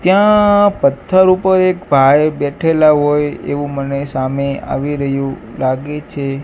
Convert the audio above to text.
ત્યાં પથ્થર ઉપર એક ભાઈ બેઠેલા હોય એવુ મને સામે આવી રહ્યુ લાગે છે.